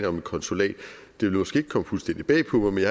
om et konsulat det ville måske ikke komme fuldstændig bag på mig men